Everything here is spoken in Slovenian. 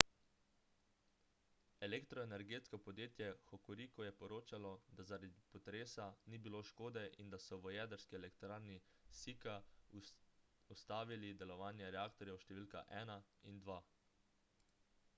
elektroenergetsko podjetje hokuriku je poročalo da zaradi potresa ni bilo škode in da so v jedrski elektrarni sika ustavili delovanje reaktorjev številka 1 in 2